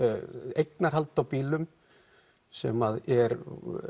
eignarhald á bílum sem er